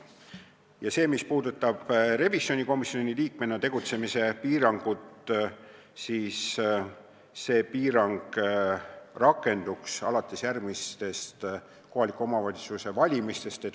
Piirang, mis puudutab revisjonikomisjoni liikmena tegutsemist, rakenduks alates järgmistest kohaliku omavalitsuse volikogude valimistest.